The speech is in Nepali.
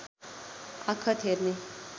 आखत हेर्ने